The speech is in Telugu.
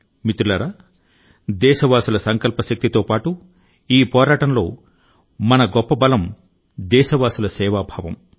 మిత్రులారా దేశవాసుల సంకల్ప శక్తితో పాటు ఈ పోరాటంలో మన గొప్ప బలం దేశవాసుల సేవా భావం